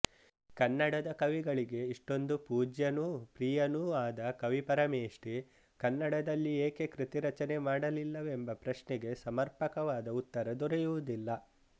ಕನ್ನಡದ ಕವಿಗಳಿಗೆ ಇಷ್ಟೊಂದು ಪೂಜ್ಯನೂ ಪ್ರಿಯನೂ ಆದ ಕವಿಪರಮೇಷ್ಠಿ ಕನ್ನಡದಲ್ಲಿ ಏಕೆ ಕೃತಿರಚನೆ ಮಾಡಲಿಲ್ಲವೆಂಬ ಪ್ರಶ್ನೆಗೆ ಸಮರ್ಪಕವಾದ ಉತ್ತರ ದೊರೆಯುವುದಿಲ್ಲ